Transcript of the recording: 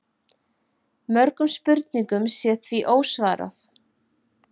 Mörgum spurningum sé því ósvarað